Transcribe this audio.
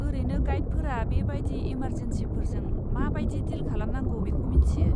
ओरैनो गाइडफोरा बे बायदि इमारजेनसिफोरजों मा बायदि डिल खालामनांगौ बेखौ मिथियो।